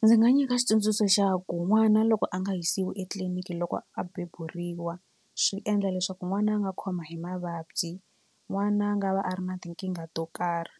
Ndzi nga nyika xitsundzuxo xa ku n'wana loko a nga yisiwi etliliniki loko a beburiwa swi endla leswaku n'wana a nga khoma hi mavabyi n'wana a nga va a ri na tinkingha to karhi